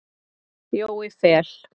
Jói Fel.